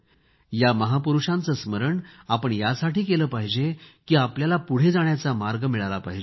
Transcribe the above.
या महापुरूषांचे स्मरण आपण यासाठी केले पाहिजे की आपल्याला पुढे जाण्याचा मार्ग मिळाला पाहिजे